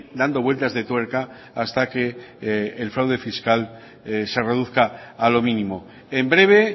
dando vueltas de tuerca hasta que el fraude fiscal se reduzca a lo mínimo en breve